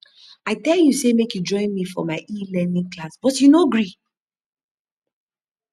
i tell you say make you join me for my elearning class but you no gree